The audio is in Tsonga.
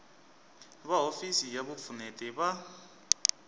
va hofisi ya vupfuneti va